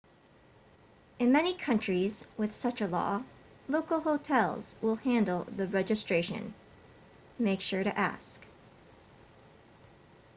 in many countries with such a law local hotels will handle the registration make sure to ask